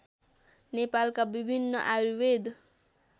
नेपालका विभिन्न आयुर्वेद